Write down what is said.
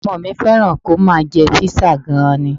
Ọmọ mi fẹ́ràn kí ó máa jẹ Písà gan-an ni